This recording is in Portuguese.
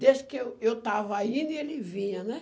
Desde que eu estava indo, ele vinha, né?